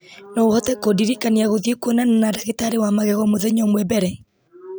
no ũhote kũndirikania gũthiĩ kwonana na ndagĩtarĩ wa magego mũthenya ũmwe mbere